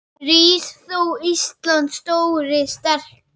Rís þú, Íslands stóri, sterki